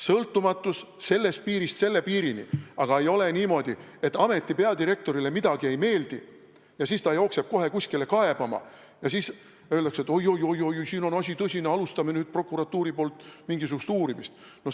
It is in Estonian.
Sõltumatus on sellest piirist selle piirini, aga ei ole nii moodi, et kui ameti peadirektorile midagi ei meeldi, siis ta jookseb kohe kuskile kaebama ja siis öeldakse, et oi-oi-oi-oi, siin on asi tõsine, prokuratuur alustagu nüüd mingisugust uurimist.